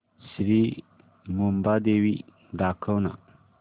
श्री मुंबादेवी दाखव ना